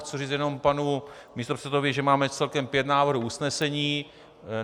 Chci říct jenom panu místopředsedovi, že máme celkem pět návrhů usnesení.